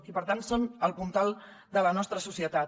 i per tant són el puntal de la nostra societat